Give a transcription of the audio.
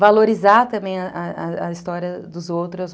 Valorizar também a história dos outros.